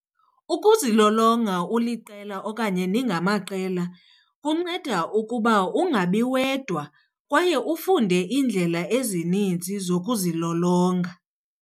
Ukuzilolonga uliqela okanye ningamaqela kunceda ukuba ungabi wedwa kwaye ufunde iindlela ezininzi zokuzilolonga.